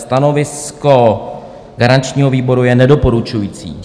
Stanovisko garančního výboru je nedoporučující.